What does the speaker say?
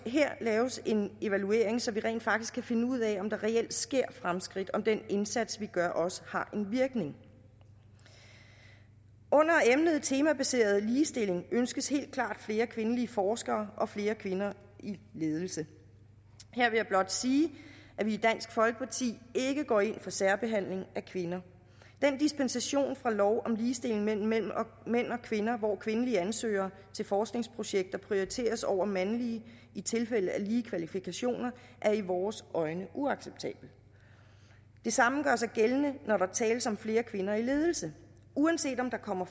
her laves en evaluering så vi rent faktisk kan finde ud af om der reelt sker fremskridt altså om den indsats vi gør også har en virkning under emnet temabaseret ligestilling ønskes helt klart flere kvindelige forskere og flere kvinder i ledelse her vil jeg blot sige at vi i dansk folkeparti ikke går ind for særbehandling af kvinder den dispensation fra lov om ligestilling mellem mænd og kvinder hvor kvindelige ansøgere til forskningsprojekter prioriteres over mandlige i tilfælde af lige kvalifikationer er i vores øjne uacceptabel det samme gør sig gældende når der tales om flere kvinder i ledelse uanset om der kommer